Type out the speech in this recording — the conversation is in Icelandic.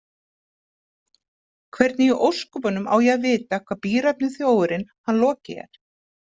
Hvernig í ósköpunum á ég að vita hvar bíræfni þjófurinn hann Loki er?